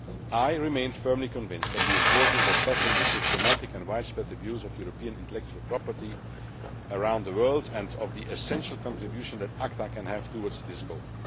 I remain firmly convinced of the importance of tackling the systematic and widespread abuse of European intellectual property around the world, and of the essential contribution that ACTA can make towards this goal.